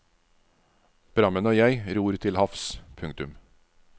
Prammen og jeg ror til havs. punktum